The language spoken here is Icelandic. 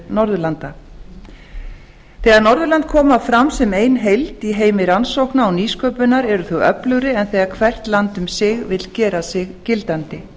norðurlanda þegar norðurlönd koma fram sem ein heild í heimi rannsókna og nýsköpunar eru þau öflugri en þegar hvert land um sig vill gera sig gildandi